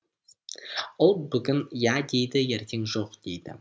ол бүгін иә дейді ертең жоқ дейді